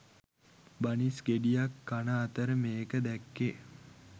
බනිස් ගෙඩියක් කන අතරෙ මේක දැක්කෙ